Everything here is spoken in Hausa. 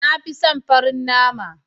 Na fi son farin nama.